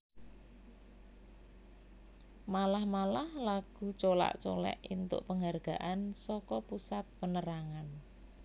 Malah malah lagu Colak Colek éntuk penghargaan saka Pusat Penerangan